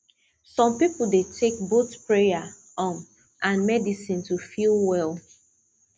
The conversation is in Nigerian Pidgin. some people dey take both prayer um and medicine to feel well